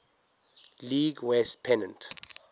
league west pennant